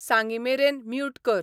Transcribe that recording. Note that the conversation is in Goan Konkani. सांगीमेरेन म्यूूट कर